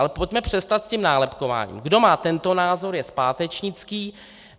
Ale pojďme přestat s tím nálepkováním: Kdo má tento názor, je zpátečnický.